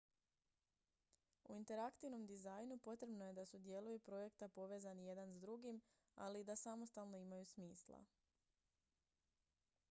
u interaktivnom dizajnu potrebno je da su dijelovi projekta povezani jedan s drugim ali i da samostalno imaju smisla